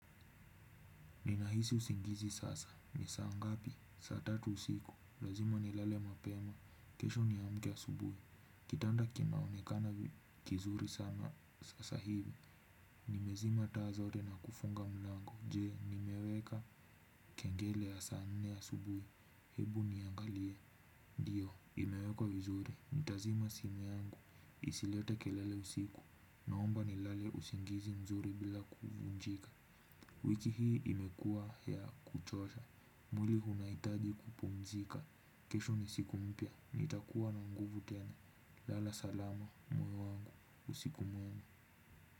Ninahisi usingizi sasa, ni saa ngapi, saa tatu usiku, lazima nilale mapema, kesho niamke asubuhi, kitanda kinaonekana kizuri sana sasa hivi, nimezima taa zote na kufunga mlango, je, nimeweka kengele ya saa nne asubuhi, hebu niangalie, ndio, imeweka vizuri, nitazima simu yangu, isilete kelele usiku, naomba nilale usingizi mzuri bila kuvunjika. Wiki hii imekuwa ya kuchosha. Mwili unahitaji kupumzika. Kesho ni siku mpya. Nitakuwa na nguvu kena. Lala salama mume wangu. Usiku mwema.